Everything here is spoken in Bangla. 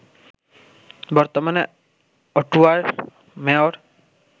বর্তমানে অটোয়ার মেয়র